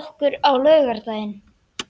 okkur á laugardaginn?